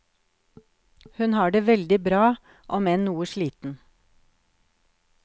Hun har det veldig bra, om enn noe sliten.